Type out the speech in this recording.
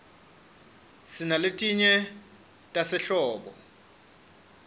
sinaletinye tasehlobo